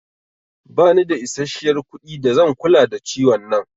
Ba ni da isashiyar kuɗi da zan kula da ciwon nan